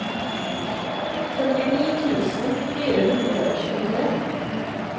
førtini tusen fire hundre og tjuetre